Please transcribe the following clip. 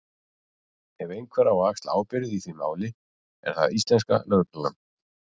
Ef einhver á að axla ábyrgð í því máli er það íslenska lögreglan.